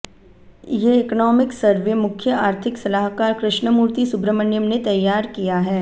ये economic survey मुख्य आर्थिक सलाहकार कृष्णमूर्ति सुब्रमण्यम ने तैयार किया है